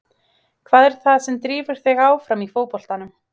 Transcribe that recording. Hvað er það sem drífur þig áfram í fótboltanum?